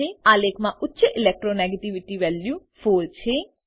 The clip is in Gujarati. આલેખમાં ઉચ્ચ electro નેગેટિવિટી વેલ્યુ 4 છે